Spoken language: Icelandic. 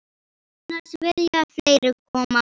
Annars vilja fleiri koma með.